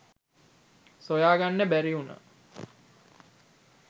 සොයා ගන්න බැරි වුණා.